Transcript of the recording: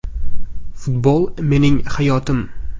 Futbol mening hayotim.